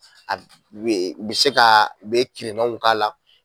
A bɛ u bɛ se ka u bɛ kirinaw k'a la